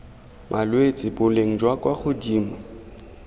malwetse boleng jwa kwa godimo